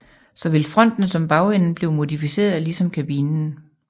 Såvel fronten som bagenden blev modificeret ligesom kabinen